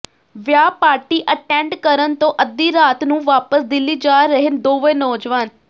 ਵਿਆਹ party attend ਕਰਨ ਤੋਂ ਅੱਧੀ ਰਾਤ ਨੂੰ ਵਾਪਸ ਦਿੱਲੀ ਜਾ ਰਹੇ ਦੋਵੇਂ ਨੌਜਵਾਨ